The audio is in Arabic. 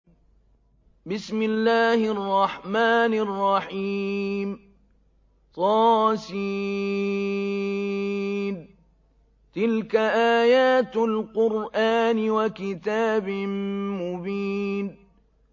طس ۚ تِلْكَ آيَاتُ الْقُرْآنِ وَكِتَابٍ مُّبِينٍ